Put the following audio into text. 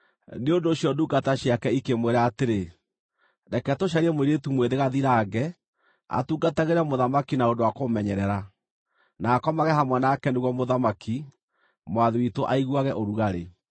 Nĩ ũndũ ũcio ndungata ciake ikĩmwĩra atĩrĩ, “Reke tũcarie mũirĩtu mwĩthĩ gathirange, atungatagĩre mũthamaki na ũndũ wa kũmũmenyerera, na akomage hamwe nake nĩguo mũthamaki, mwathi witũ, aiguage ũrugarĩ.”